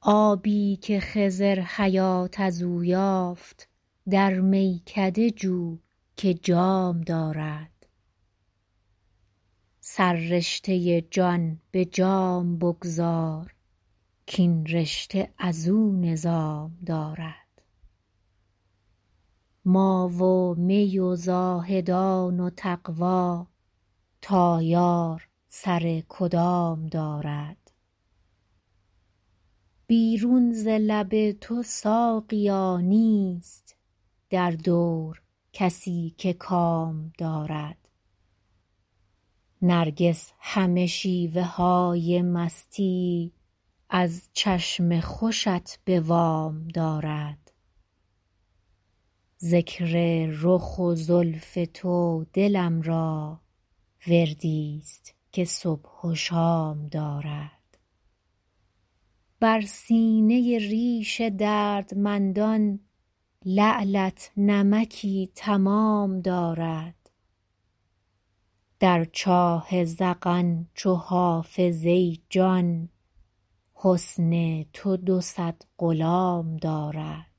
آبی که خضر حیات از او یافت در میکده جو که جام دارد سررشته جان به جام بگذار کاین رشته از او نظام دارد ما و می و زاهدان و تقوا تا یار سر کدام دارد بیرون ز لب تو ساقیا نیست در دور کسی که کام دارد نرگس همه شیوه های مستی از چشم خوشت به وام دارد ذکر رخ و زلف تو دلم را وردی ست که صبح و شام دارد بر سینه ریش دردمندان لعلت نمکی تمام دارد در چاه ذقن چو حافظ ای جان حسن تو دو صد غلام دارد